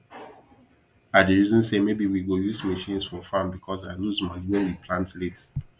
i dey reason say maybe we go use machines for farm because i lose money when we plant late